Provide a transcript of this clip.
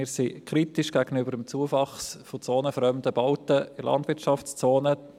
Wir sind kritisch gegenüber dem Zuwachs zonenfremder Bauten in der Landwirtschaftszone.